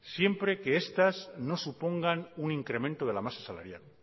siempre que estas no supongan un incremento de la masa salarial